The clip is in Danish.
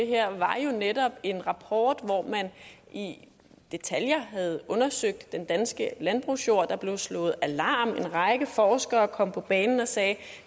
her var jo netop en rapport hvor man i detaljer havde undersøgt den danske landbrugsjord der blev slået alarm en række forskere kom på banen og sagde